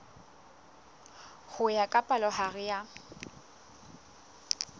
ho ya ka palohare ya